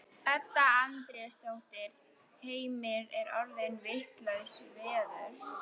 Edda Andrésdóttir: Heimir er orðið vitlaust veður?